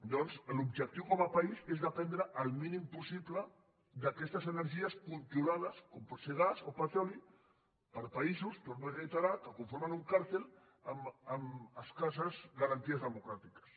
doncs l’objectiu com a país és dependre el mínim possible d’aquestes energies controlades com pot ser gas o petroli per països ho torno a reiterar que conformen un càrtel amb escasses garanties democràtiques